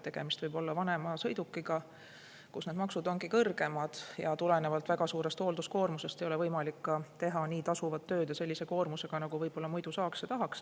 Tegemist võib olla vanema sõidukiga, mille puhul need maksud ongi kõrgemad, aga tulenevalt väga suurest hoolduskoormusest ei ole võimalik teha tasuvat tööd ja sellise koormusega, nagu võib-olla muidu saaks ja tahaks.